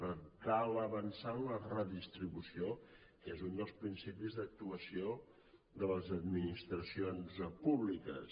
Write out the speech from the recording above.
per tant cal avançar en la redistribució que és un dels principis d’actuació de les administracions públiques